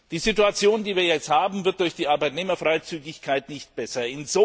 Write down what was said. Die Situation, die wir jetzt haben, wird durch die Arbeitnehmerfreizügigkeit nicht besser.